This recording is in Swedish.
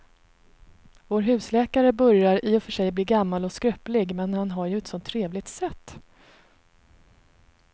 Vår husläkare börjar i och för sig bli gammal och skröplig, men han har ju ett sådant trevligt sätt!